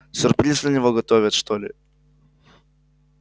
сюрприз для него готовят что ли